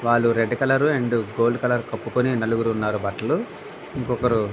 వాళ్ళు red colour and gold colour కప్పుకొని నలుగురు ఉన్నారు బట్టలు ఇంకొకరు --